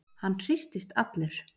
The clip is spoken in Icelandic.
Hann hristist allur.